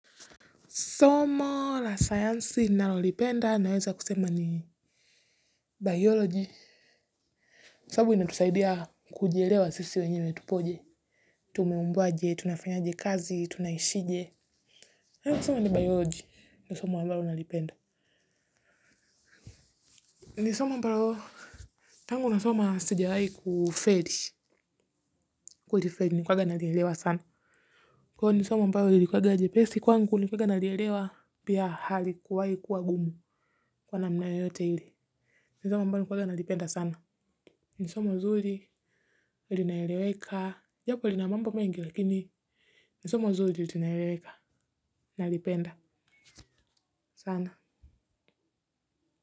Somo la science ninalolipenda, naweza kusema ni biology. Somo linatusaidia kujielewa sisi wenyeme tupoje. Tumeumbwaje, tunafanyaje kazi, tunaishije? Hilo soma ni biology. Ni soma ambalo nalipenda. Ni soma ambalo, tangu nasoma sijawahi kufeli. Kulifeli na kwanza nalielewa sana. Kwa hivo ni somo ambalo lilikuwa jepesi kwangu nilikuwanga nalielewa pia halikuwahi kuwa gumu. Kwa namna yote ile ni somo ambalo nilikuwanga nalipenda sana. Ni sumo nzuri, linaeleweka, japo lina mambo mengi lakini, ni somo nzuri linaeleweka, nalipenda.